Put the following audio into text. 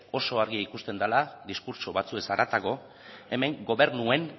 oso argi ikusten dela diskurtso batzuez haratago hemen gobernuen